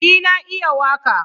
Yes i can sing